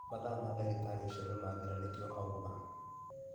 Mathaa ma dagĩtarĩ ũcio nĩmathira nĩkĩo auma